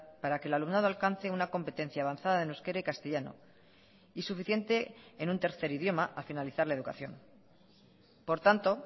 para que el alumnado alcance una competencia avanzada en euskera y castellano y suficiente en un tercer idioma a finalizar la educación por tanto